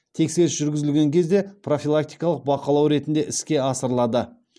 тексеріс жүргізілген кезде профилактикалық бақылау ретінде іске асырылады